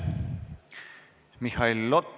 Aitäh!